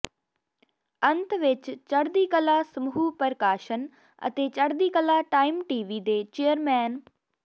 ਅੰਤ ਵਿਚ ਚੜਦੀਕਲਾ ਸਮੂਹ ਪ੍ਰਕਾਸ਼ਨ ਅਤੇ ਚੜਦੀਕਲਾ ਟਾਈਮ ਟੀ ਵੀ ਦੇ ਚੇਅਰਮੈਨ ਸ